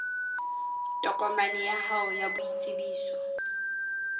tokomaneng ya hao ya boitsebiso